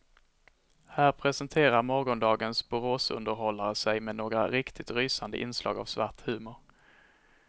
Här presenterar morgondagens boråsunderhållare sig med några riktigt rysande inslag av svart humor.